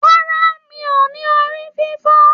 Rárá, mí o ní orí fífọ.